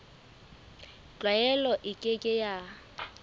tlwaelo e ke ke ya